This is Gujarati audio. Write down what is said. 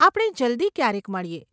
આપણે જલ્દી ક્યારેક મળીએ.